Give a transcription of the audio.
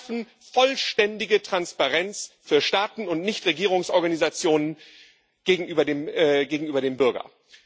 Sie schaffen vollständige Transparenz für Staaten und Nichtregierungsorganisationen gegenüber dem Bürger.